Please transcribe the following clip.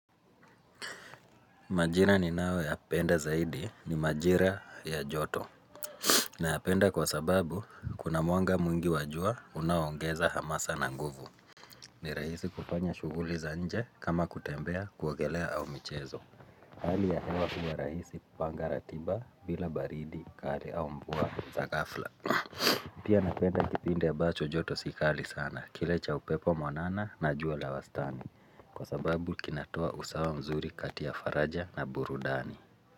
Majira ninao yapenda zaidi ni majira ya joto Nayapenda kwa sababu kuna mwanga mwingi wa jua unaongeza hamasa na nguvu ni rahisi kufanya shuguli za nje kama kutembea kuogelea au michezo Hali ya hewa huwa rahisi panga ratiba bila baridi kali au mva za gafla Pia napenda kipindi ambacho joto si kali sana kile cha upepo mwanana na jua la wastani Kwa sababu kinatoa usawa mzuri kati ya faraja na burudani.